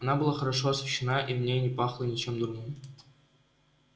она была хорошо освещена и в ней не пахло ничем дурным